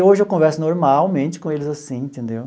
Hoje eu converso normalmente com eles assim, entendeu?